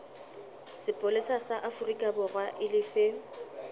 sepolesa sa aforikaborwa e lefe